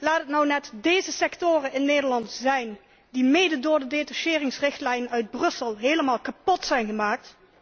Laat het nu net deze sectoren in Nederland zijn, die mede door de detacheringsrichtlijn uit Brussel helemaal kapot zijn gemaakt.